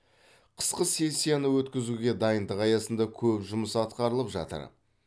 қысқы сессияны өткізуге дайындық аясында көп жұмыс атқарылып жатыр